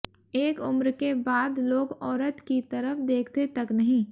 एक उम्र के बाद लोग औरत की तरफ देखते तक नहीं